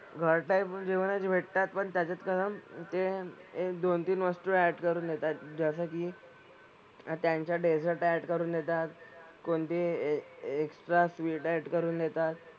घर type जेवणच भेटतात पण त्याच्यात ते एक दोन-तीन वस्तू add करून देतात. जसं की त्यांच्या dessert add करून देतात. कोणती extra sweet add करून देतात.